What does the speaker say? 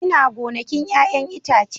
Ina gonakin 'ya'yan itace